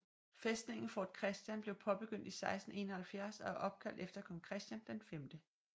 Fæstningen Fort Christian blev påbegyndt i 1671 og er opkaldt efter kong Christian V